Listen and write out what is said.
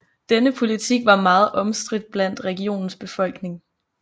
Denne politik var meget omstridt blandt regionens befolkning